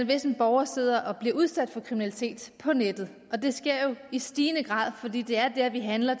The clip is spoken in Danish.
hvis en borger sidder og bliver udsat for kriminalitet på nettet og det sker jo i stigende grad fordi det er der vi handler